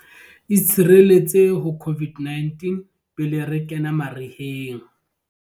Itshireletse ho COVID-19 pele re kena mariheng